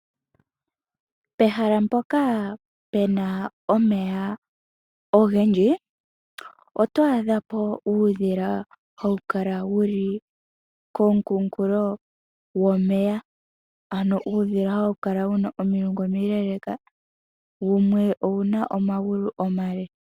Pehala mpoka pena omeya ogendji, oto adha po uudhila hawu kala wuli komukunkulo gwomeya ano uudhila hawu kala wuna omilungu omileeleka wumwe owuna omagulu omale.